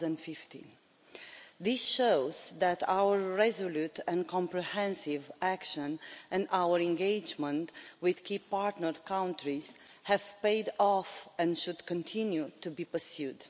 2015. This shows that our resolute and comprehensive action and our engagement with key partner countries have paid off and should continue to be pursued.